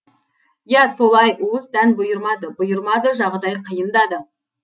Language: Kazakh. иә солай уыс дән бұйырмады бұйырмады жағдай қиындады